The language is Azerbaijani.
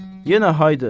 Yenə haydı.